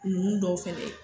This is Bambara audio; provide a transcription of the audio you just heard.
Ninnu dɔw fɛnɛ ye